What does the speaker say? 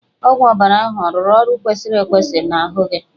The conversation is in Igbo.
Ọgwụ ọbara ahụ ọ rụrụ ọrụ ọ kwesịrị irụ n'ahụ gị?